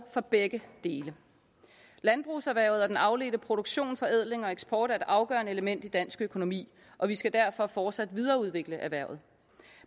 for begge dele landbrugserhvervet og den afledte produktion nemlig forædling og eksport er et afgørende element i den danske økonomi og vi skal derfor fortsat videreudvikle dette erhverv